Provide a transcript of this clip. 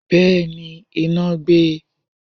Bẹ́ẹ̀ni, iná gbé e.